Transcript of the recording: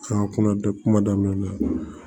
A kuma bɛ kuma daminɛ